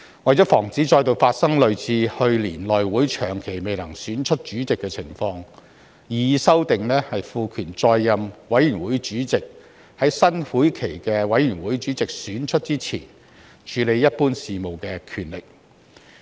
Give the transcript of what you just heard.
為防止再度發生類似去年內會長期未能選出主席的情況，擬議修訂賦權在任委員會主席在選出新會期的委員會主席之前處理一般事務的權力。